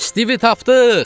Stivi tapdıq!